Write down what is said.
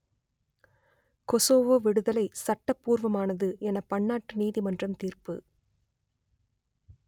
Kosovo விடுதலை சட்டப்பூர்வமானது என பன்னாட்டு நீதிமன்றம் தீர்ப்பு